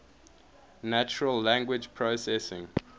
natural language processing